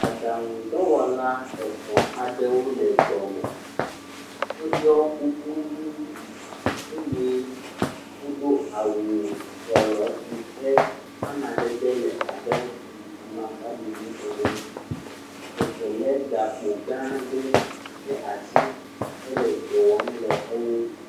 Aɖaŋudɔwɔ etɔ̃ aɖewo le dɔ me. Woɖɔ kuku ʋi eye wodo awu trɔlɔ si ƒe amadede le abe amakpaɖiɖi ene. Eve le gakpo gã ɖe ɖe asi hele dɔ wɔm le enu.